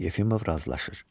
Yefimov razılaşır.